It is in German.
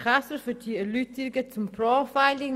Käser für die Erläuterungen zum Profiling.